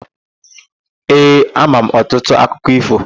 Ee, ama m ọtụtụ akụkọ ífò.